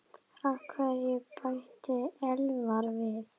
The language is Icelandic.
Af hverju? bætti Elvar við.